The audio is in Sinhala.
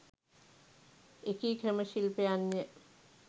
එකී ක්‍රම ශිල්පයන් ය.